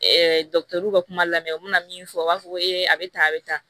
dɔkitɛriw ka kuma lamɛn u bɛna min fɔ u b'a fɔ ko a bɛ tan a bɛ tan